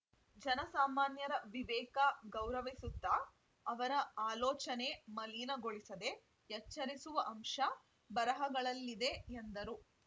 ಜನಸಾಮಾನ್ಯರ ವಿವೇಕ ಗೌರವಿಸುತ್ತ ಅವರ ಅಲೋಚನೆ ಮಲೀನಗೊಳಿಸದೇ ಎಚ್ಚರಿಸುವ ಅಂಶ ಬರಹಗಳಲ್ಲಿದೆ ಎಂದರು